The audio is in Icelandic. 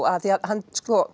af því að hann